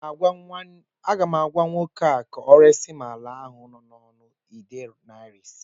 Aga m agwa nwoke ahụ ka ọ resim ala ahụ n'ọnụ nde naira ise